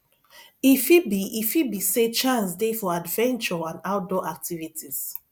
e fit be e fit be sey chance dey for adventure and outdoor activities